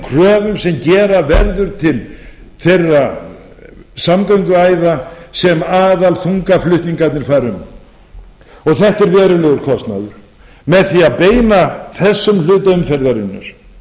kröfum sem gera verður til þeirra samgönguæða sem aðalþungaflutningarnir fara um og þetta er verulegur kostnaður með því að beina þessum hluta umferðarinnar á